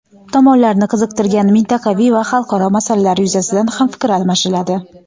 Tomonlarni qiziqtirgan mintaqaviy va xalqaro masalalar yuzasidan ham fikr almashiladi.